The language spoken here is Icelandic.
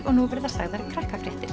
og nú verða sagðar